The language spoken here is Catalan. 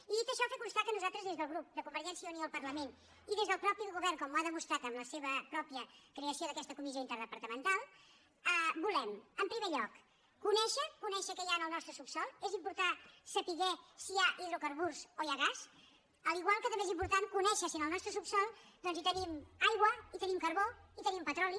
i dit això fer constar que nosaltres des del grup de convergència i unió al parlament i des del mateix govern com ho ha demostrat amb la seva pròpia creació d’aquesta comissió interdepartamental volem en primer lloc conèixer què hi ha en el nostre subsòl és important saber si hi ha hidrocarburs o hi ha gas igual que també és important conèixer si en el nostre subsòl doncs tenim aigua tenim carbó tenim petroli